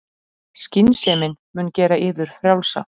Skynsemin mun gera yður frjálsa.